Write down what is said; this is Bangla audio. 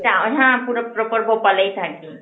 টা হ্যাঁ পুরো proper ভুপালেই থাকি.